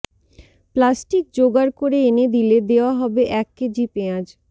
plastic জোগার করে এনে দিলে দেওয়া হবে এক কেজি পেঁয়াজ